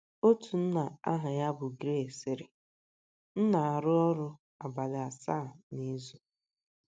Otu nna aha ya bụ Gary sịrị: “ M na - arụ ọrụ abalị asaa n’izu.